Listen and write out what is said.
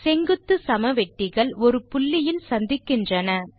செங்குத்துச் சமவெட்டிகள் ஒரு புள்ளியில் சந்திக்கின்றன